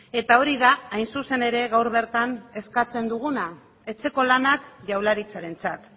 eta hori da hain zuzen ere gaur bertan eskatzen duguna etxeko lanak jaurlaritzarentzat